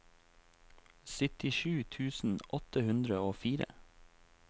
syttisju tusen åtte hundre og fire